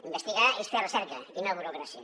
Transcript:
investigar és fer recerca i no burocràcia